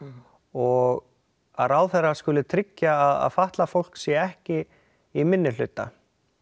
og að ráðherra skuli tryggja að fatlað fólk sé ekki í minni hluta